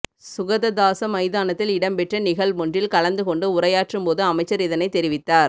சுகததாச மைதானத்தில் இடம்பெற்ற நிகழ்வொன்றில் கலந்துகொண்டு உரையாற்றும் போது அமைச்சர் இதனை தெரிவித்தார்